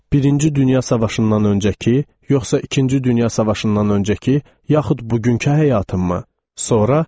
Birinci Dünya Savaşından öncəki, yoxsa İkinci Dünya Savaşından öncəki, yaxud bugünkü həyatımmı?